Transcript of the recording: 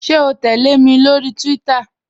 Ṣẹ̀ o tẹlẹ̀ mi lórí Twitter?